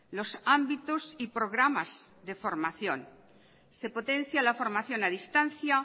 los ámbitos y programas de formación se potencia la formación a distancia